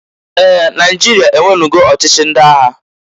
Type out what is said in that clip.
Ee! Naịjịria enwenugo ochichi ndị agha.